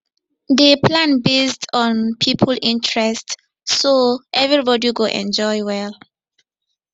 dey plan based on people interest so everybody go enjoy well